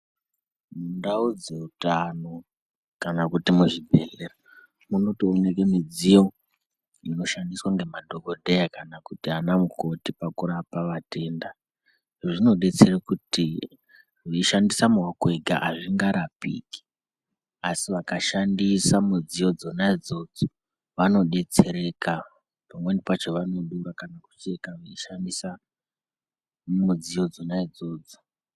Mundau dzeutano kana kuti muzvibhehlera munotoonekwe midziyo inoshandiswe nemadhokodheya kana ana mukoti kurapa vatenda. Izvi zvinodetsere kuti veishandise maoko ega azvinga rapiki asi vakashandisa midziyo dzona idzodzo vanodetsereka pamweni pakona vanodura kana kucheka veishandisa mudziyo dzona idzodzo.